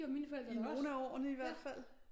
I nogle af årene i hvert fald